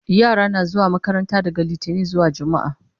yara na zuwa makaranta daga littani zuwa jumma'a